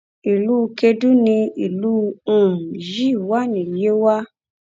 ìlú kedú ni ìlú um yìí wà ní yewa